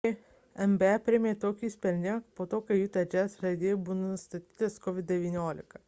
nba priėmė tokį sprendimą po to kai utah jazz žaidėjui buvo nustatytas covid-19